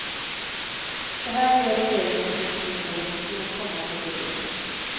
Det här gör regeringen ingenting åt i den kommande budgeten.